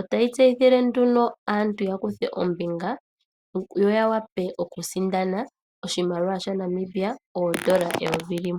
Otayi tseyithile nduno aantu yakuthe ombinga yo yawape oku sindana oshimaliwa shaNamibia oondola eyovi limwe.